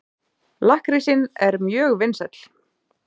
Lakkrísinn er mjög vinsæll.